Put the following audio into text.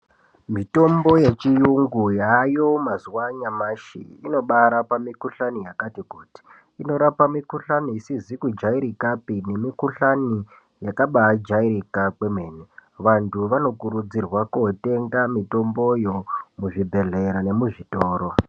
Mitombo yechiyungu yaayo mazuva anyamashi inobaarapa mikohlani yakati kuti, inorapa mikohlani isizi kujairikapi nemikohlani yakabaajairika kwemene, vantu vanokurudzirwa kootenga mitomboyo muzvibhedhlera nemuzvitoro.